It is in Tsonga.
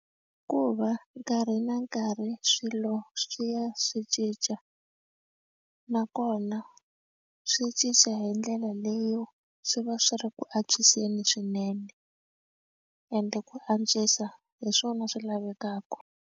Hikuva nkarhi na nkarhi swilo swi ya swi cinca nakona swi cinca hi ndlela leyo swi va swi ri ku antswiseni swinene ende ku antswisa hi swona swi lavekaka.